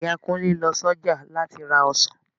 Ìyá Kunle lọ s'ọjà láti ra ọsàn